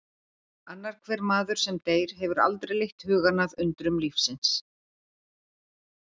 Annar hver maður sem deyr hefur aldrei leitt hugann að undrum lífsins